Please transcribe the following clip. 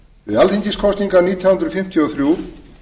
við alþingiskosningar nítján hundruð fimmtíu og þrjú